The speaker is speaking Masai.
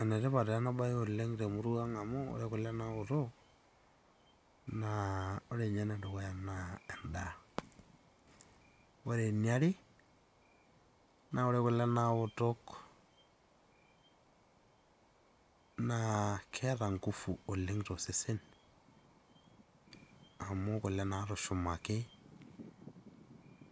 Ene tipat taa ena bae te murua ang' amu, ore kule naaoto naa ore ninye ene dukuya naa endaa. Ore ene are, naa ore ninye kule naoto naa keeta nguvu oleng' too sesen amu kule natushumaki